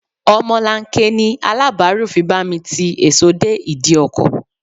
Omolanke ni Aláàbáárù fi bá mi ti èso dé ìdí ọkọ̀.